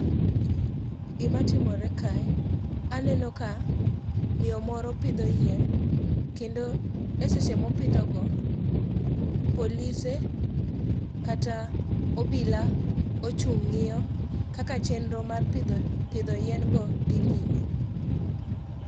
Gimatimore kae, aneno ka miyo moro pidho yien kendo e seche mopidhogo, polise kata obila ochung' ng'iyo kaka chenro mar pidho yien go dhi nyime.